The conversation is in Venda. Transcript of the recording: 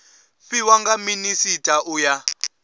fhiwa nga minisita u ya